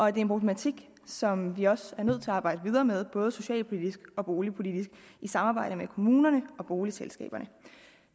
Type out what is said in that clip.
er en problematik som vi også er nødt til at arbejde videre med både socialpolitisk og boligpolitisk i samarbejde med kommunerne og boligselskaberne